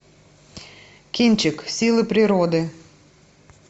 кинчик силы природы